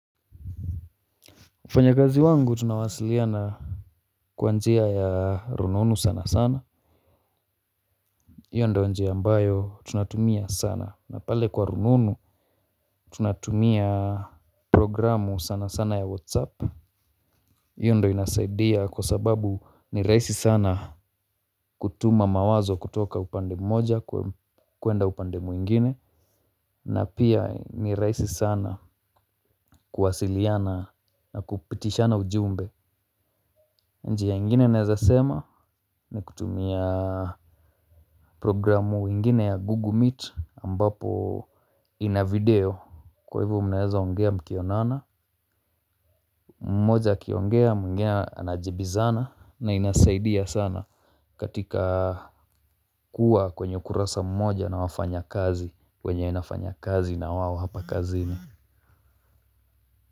Mfanyakazi wangu tunawasiliana kwa njia ya rununu sana sana hiyo ndiyo njia ambayo tunatumia sana na pale kwa rununu tunatumia programu sana sana ya whatsapp. Hiyo ndio inasaidia kwa sababu ni rahisi sana kutuma mawazo kutoka upande mmoja kwenda upande mwingine na pia ni rahisi sana kuwasiliana na kupitishana ujumbe. Njia ingine naweza sema ni kutumia programu ingine ya Google Meet ambapo ina video kwa hivyo mnaweza ongea mkionana. Mmoja akiongea mwingine anajibizana na inasaidia sana katika kuwa kwenye ukurasa mmoja na wafanyakazi wenye nafanya kazi na wao hapa kazini.